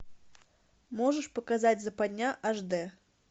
можешь показать западня аш дэ